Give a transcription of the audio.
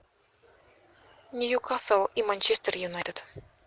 ньюкасл и манчестер юнайтед